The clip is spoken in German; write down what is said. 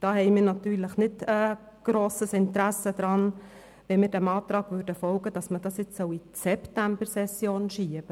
Deshalb haben wir kein grosses Interesse daran, dem Antrag zu folgen, das Geschäft in die Septembersession zu verschieben.